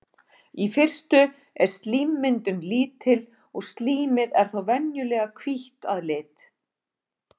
Í fyrstu er slímmyndun lítil og slímið er þá venjulega hvítt að lit.